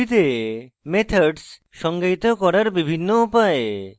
ruby তে methods সংজ্ঞায়িত করার বিভিন্ন উপায়